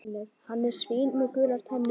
Hann er svín með gular tennur.